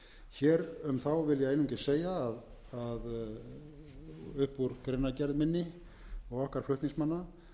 einungis segja að upp úr greinargerð minni og okkar flutningsmanna